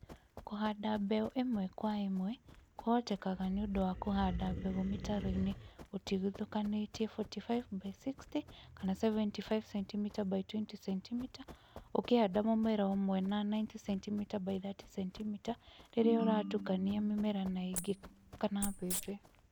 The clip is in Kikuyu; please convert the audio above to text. Kũhanda mbeũ ĩmwe kwa ĩmwe kũhotekaga nĩũndũ wa kũhanda mbegũ mĩtaroinĩ ũtigithukanĩtie 45×60 kana 75cm ×20 cm ũkĩhanda mũmera ũmwe na 90cm×30cm rĩrĩa ũratukania mĩmera na ingĩ kama mbembe